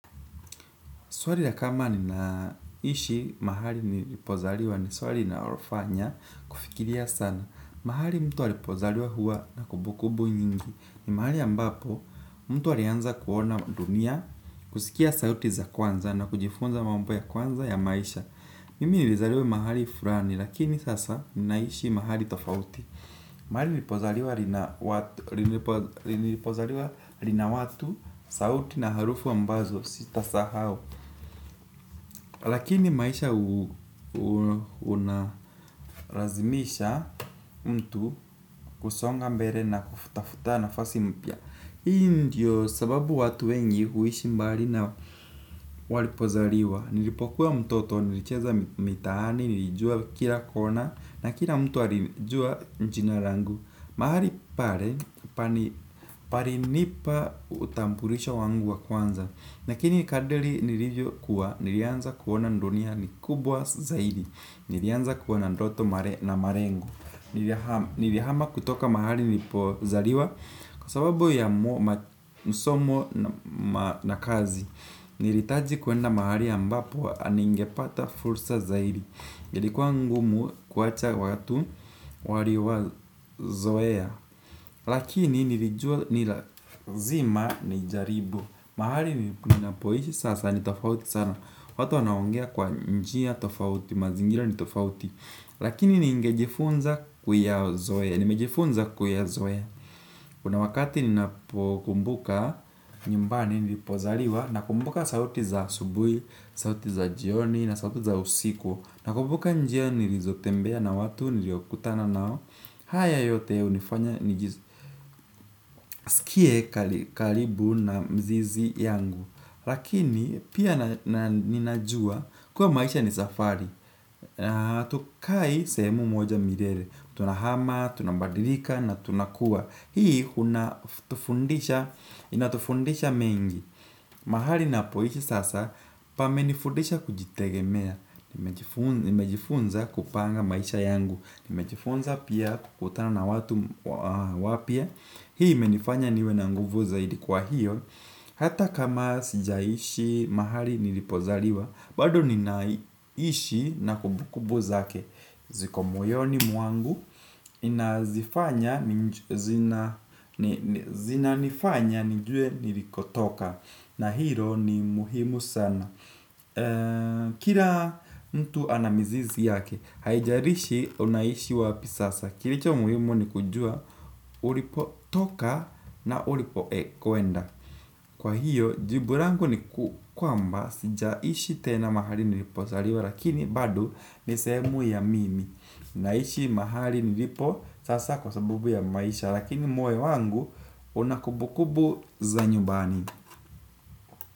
Swali la kama ninaishi mahali nilipozaliwa ni swali inalofanya kufikiria sana. Mahali mtu alipozaliwa huwa na kumbukumbu nyingi. Ni mahali ambapo mtu alianza kuona dunia, kusikia sauti za kwanza na kujifunza mambo ya kwanza ya maisha. Mimi nilizaliwa mahali fulani lakini sasa ninaishi mahali tofauti. Mahali nilipozaliwa lina watu, sauti na harufu ambazo sitasahau. Lakini maisha unalazimisha mtu kusonga mbele na kutafuta nafasi mpya. Hii ndio sababu watu wengi huishi mbali na walipozaliwa. Nilipokuwa mtoto, nilicheza mitaani, nilijua kila kona, na kila mtu alijua jina langu. Mahali pale, palinipa utambulisho wangu wa kwanza. Lakini kadiri nilivyokuwa, nilianza kuona ndunia ni kubwa zaidi. Nilianza kuwa na ndoto na marengu. Nilihama kutoka mahali nilipozaliwa kwa sababu ya msomo na kazi. Nilihitaji kwenda mahali ambapo ningepata fursa zaidi. Ilikuwa ngumu kuacha watu, zoea. Lakini nilijua ni lazima ni jaribu. Mahali ninapoishi sasa ni tofauti sana. Watu wanaongea kwa njia tofauti, mazingira ni tofauti. Lakini ningejifunza kuyazoe, nimejifunza kuyazoe. Kuna wakati ninapokumbuka nyumbani, nilipozaliwa. Nakumbuka sauti za asubuhi, sauti za jioni na sauti za usiku. Nakumbuka njia nilizotembea na watu niliokutana nao. Haya yote unifanya nijisikie, kalibu na mzizi yangu. Lakini pia, ninajua kuwa maisha ni safari. Na hatukai sehemu moja milele. Tunahama, tunabadilika na tunakua. Hii inatufundisha mengi. Mahali ninapoishi sasa, pamenifundisha kujitegemea. Nimejifunza kupanga maisha yangu. Nimejifunza pia kukutana na watu wapya. Hii imenifanya niwe na nguvu zaidi, kwa hiyo hata kama sijaishi mahali nilipozaliwa, bado ninaishi na kumbukumbu zake. Ziko moyo ni mwangu, inazifanya, zinanifanya nijue nilikotoka. Na hilo ni muhimu sana. Kila mtu anamizizi yake, haijalishi unaishi wapi sasa. Kilicho muhimu ni kujua, ulipo toka na ulipo ekoenda. Kwa hiyo, jibu rangu ni kwamba sijaishi tena mahali nilipozaliwa lakini bado ni sehemu ya mimi, ninaishi mahali nilipo sasa kwa sababu ya maisha, lakini moyo wangu unakubukubu za nyumbani.